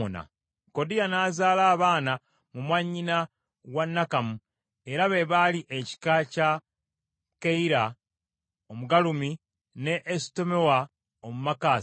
Kodiya n’azaala abaana mu mwannyina wa Nakamu era be baali ekika kya Keyira Omugalumi ne Esutemoa Omumaakasi.